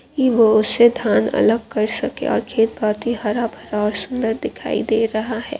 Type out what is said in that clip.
हरा भरा सुन्दर दिखाई दे रहा है।